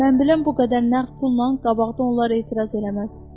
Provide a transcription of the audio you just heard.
Mən biləm bu qədər nəğd pulla qabaqda onlar etiraz eləməz.